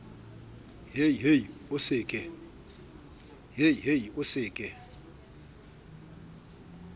hei hei o se ke